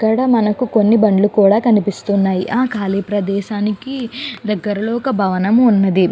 ఇక్కడ మనకు కొన్ని బండ్లు కూడా కనిపిస్తున్నాయి ఆ ఖాళీ ప్రదేశానికి దగ్గరలో ఒక భవనం ఉన్నది.